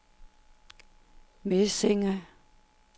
Mesinge